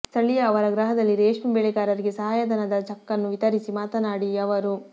ಸ್ಥಳೀಯ ಅವರ ಗೃಹದಲ್ಲಿ ರೇಷ್ಮೆ ಬೆಳಗಾರರಿಗೆ ಸಹಾಯ ಧನದ ಚಕ್ಕನ್ನು ವಿತರಿಸಿ ಮಾತನಾಡಿ ಅವರು